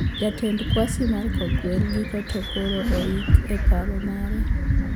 Jatend kwasi mar kogwel giko to koro oiki e par mare